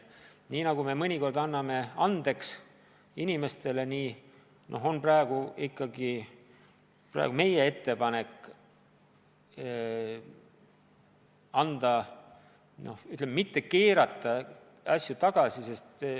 Nii nagu me mõnikord anname inimestele andeks, nii on ka praegu meie ettepanek anda andeks, mitte keerata asju tagasi.